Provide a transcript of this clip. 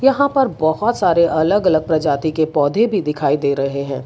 यहां पर बहोत सारे अलग अलग प्रजाति के पौधे भी दिखाई दे रहे हैं।